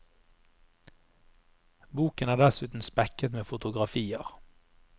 Boken er dessuten spekket med fotografier.